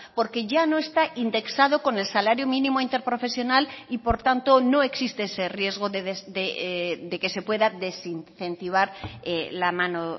porque ya no está indexado con el salario mínimo interprofesional y por tanto no existe ese riesgo de que se pueda desincentivar la mano